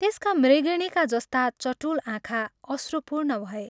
त्यसका मृगिणीका जस्ता चटुल आँखा अश्रुपूर्ण भए।